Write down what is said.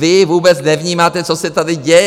Vy vůbec nevnímáte, co se tady děje.